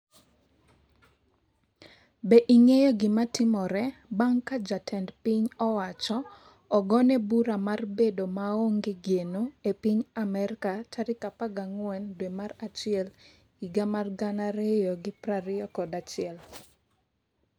Be ing'eyo gimatimore bang' ka jatend piny owacho ogone bura mar bedo maonge geno e piny Amerka tarik 14 dwe mar achiel higa mar 2021?